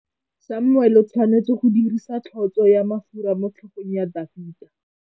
Samuele o tshwanetse go dirisa tlotsô ya mafura motlhôgong ya Dafita.